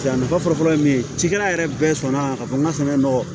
A nafa fɔlɔ fɔlɔ ye min ye cikɛla yɛrɛ bɛɛ sɔnna k'a fɔ n ka sɛnɛ nɔgɔ